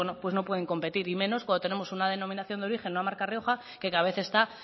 no pueden competir y menos cuando tenemos una denominación de origen una marca rioja que cada vez está